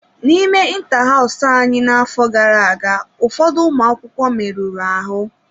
N'ime inta hows anyị n'afọ gara aga, ụfọdụ ụmụ akwụkwọ merụrụ ahụ.